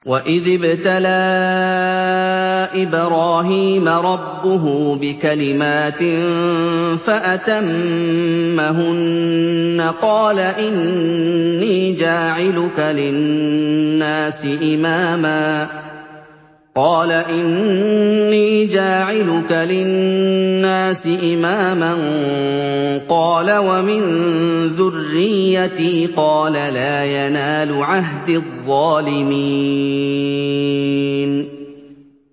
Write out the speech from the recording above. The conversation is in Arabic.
۞ وَإِذِ ابْتَلَىٰ إِبْرَاهِيمَ رَبُّهُ بِكَلِمَاتٍ فَأَتَمَّهُنَّ ۖ قَالَ إِنِّي جَاعِلُكَ لِلنَّاسِ إِمَامًا ۖ قَالَ وَمِن ذُرِّيَّتِي ۖ قَالَ لَا يَنَالُ عَهْدِي الظَّالِمِينَ